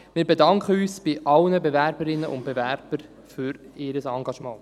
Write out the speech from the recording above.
Wir bedanken uns bei allen Bewerberinnen und Bewerbern für ihr Engagement.